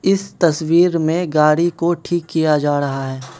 इस तस्वीर में गाड़ी को ठीक किया जा रहा है।